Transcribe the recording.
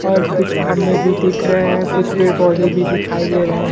और कुछ खंबे भी दिख रहे हैं कुछ पेड़-पौधे भी दिखाई दे रहें --